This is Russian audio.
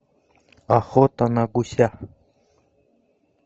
охота на гуся